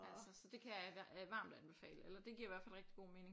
Altså så det kan jeg varmt anbefale eller det giver i hvert fald rigtig god mening